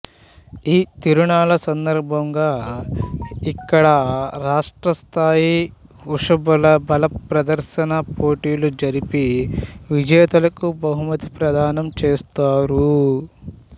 ఈ తిరునాళ్ళ సందర్భంగా ఇక్కడ రాష్ట్రస్థాయి వృషభాల బల ప్రదర్శన పోటీలు జరిపి విజేతలకు బహుమతి ప్రదానం చేస్తారు